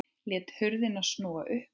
Lét hurðina snúa upp.